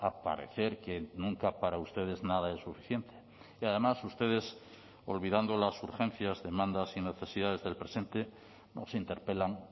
a parecer que nunca para ustedes nada es suficiente y además ustedes olvidando las urgencias demandas y necesidades del presente nos interpelan